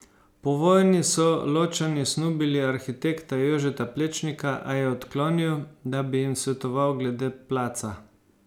Po vojni so Ločani snubili arhitekta Jožeta Plečnika, a je odklonil, da bi jim svetoval glede Placa.